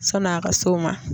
Sani a ka s'o ma.